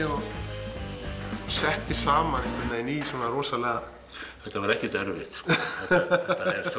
og setti saman í svona rosalega þetta var ekkert erfitt þetta